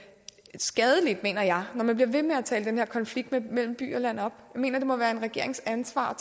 skadeligt mener jeg når man bliver ved med at tale den her konflikt mellem by og land op jeg mener det må være en regerings ansvar